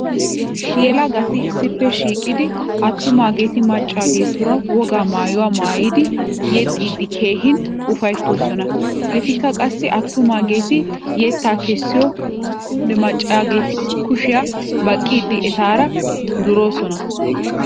Yelagati issippe shiiqidi attumaageeti maccaageetuura wogaa maayuwa maayidi yexxiiddi keehin ufayttoosona. Etikka qassi attumaageeti yettaa kessiyode maccaageeti kushiya baqqiiddi etaara duroosona.